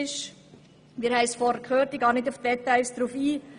Ich gehe nun nicht auf die Details ein.